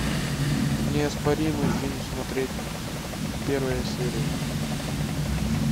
неоспоримый фильм смотреть первая серия